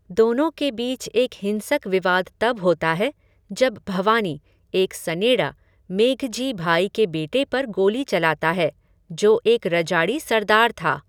दोनों के बीच एक हिंसक विवाद तब होता है जब भवानी, एक सनेड़ा, मेघजी भाई के बेटे पर गोली चलाता है, जो एक रजाड़ि सरदार था।